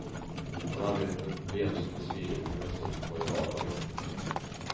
Man arbetar med problem som en civilingenjör stöter på i vardagen.